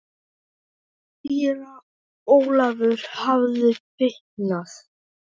Síra Ólafur hafði fitnað.